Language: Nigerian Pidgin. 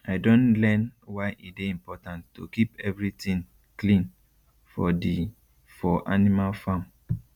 i don learn why e dey important to keep every tin clean for di for animal farm